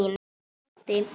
Hún leiddi